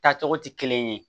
Taa cogo tɛ kelen ye